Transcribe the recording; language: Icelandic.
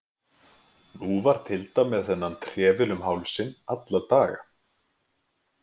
Nú var Tilda með þennan trefil um hálsinn alla daga.